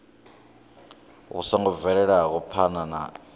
vhu songo bvelaho phana kha